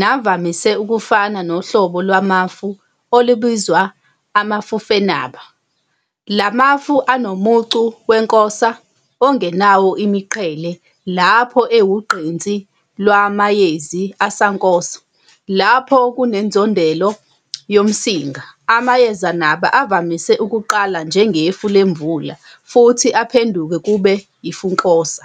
navamise ukufana nohlobo lwamafu olubizwa amafufenaba. La mafu anomucu wenkosa ongenawo imiqhele lapho ewugqinsi lwamayezi asankosa. Lapho kunensondelo yomsinga, amayezenaba avamise ukuqala njengefu lemvula futhi aphenduke kube yifunkosa.